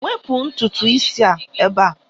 Wepụ ntutu isi a ebe a!